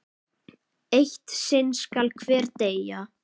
Eitt sinn skal hver deyja!